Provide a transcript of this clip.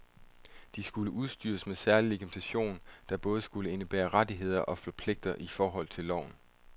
De skulle udstyres med særlig legitimation, der både skulle indebære rettigheder og pligter i forhold til loven.